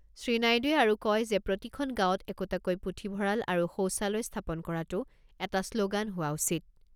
শ্ৰীনাইডুৱে আৰু কয় যে প্ৰতিখন গাঁৱত একোটাকৈ পুথিভঁৰাল আৰু সৌচালয় স্থাপন কৰাটো এটা শ্ল'গান হোৱা উচিত।